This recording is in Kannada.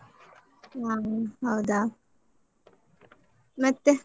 ಹಾ ಹೌದಾ? ಮತ್ತೆ?